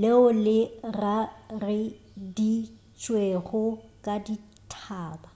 leo le rareditšwego ke dithaba